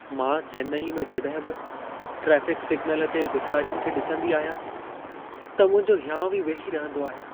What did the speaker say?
मां चेन्नई में जॾहिं बि ट्राफ़िक सिग्नल ते भेखारियुनि खे ॾिसंदी आहियां, त मुंहिंजो हियांउ ई वेही रहंदो आहे।